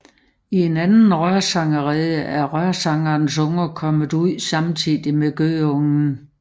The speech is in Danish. I en anden rørsangerrede er rørsangerens unger kommet ud samtidig med gøgeungen